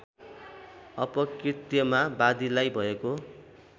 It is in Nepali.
अपकृत्यमा वादीलाई भएको